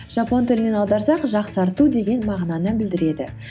жапон тілінен аударсақ жақсарту деген мағынаны білдіреді